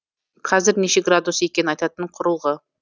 қазір неше градус екенін айтатын құрылғы